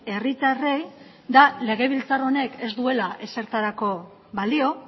herritarrei da legebiltzar honek ez duela ezertarako balio